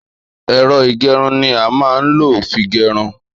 Èro ìgérun ni a má n ló fí gérun